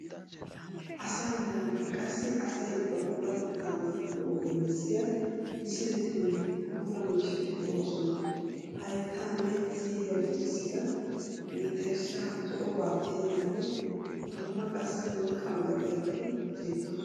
Asaa meraanne qassi asayi ba puulatetta naagiyo ogiya bessiya misiletinne puulaa miishshati de'oosona. Hayittaanne siiriya lukissida, mentterishshaa zo'obaa tiyidanne dumma qassi worqqaa milatiyabati beettoosona.